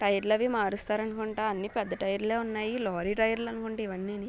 టైర్లవి మారుస్తారనుకుంటా అన్ని పెద్ద టైర్లే ఉన్నాయి లొరీ టైర్లనుకుంటా ఇవన్నీని.